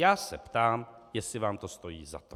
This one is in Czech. Já se ptám, jestli vám to stojí za to.